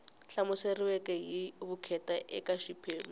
hlamuseriweke hi vukheta eka xiphemu